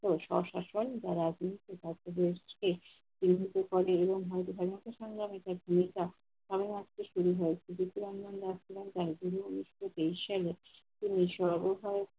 স্বশাসন বা রাজনীতি সংগ্রামে সেই ভুমিকা সর্বাত্মক শুরু হয় তিনি উনিশশো তেইশ সালে তিনি সর্বদা